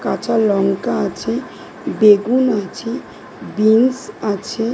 কাঁচা লঙ্কা আছে বেগুন আছে বিন্স আছে।